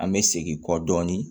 An bɛ segin kɔ dɔɔnin